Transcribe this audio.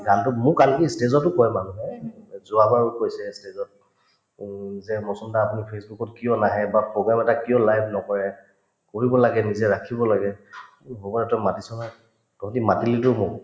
গানতোত মোক আনকি stage তো কই মানুহে এই যোৱাবাৰো কৈছে stage ত উম যে দা আপুনি facebook ত কিয় নাহে বা program এটা কিয় live নকৰে কৰিব লাগে নিজে ৰাখিব লাগে তহঁতে মাতিলিতো মোক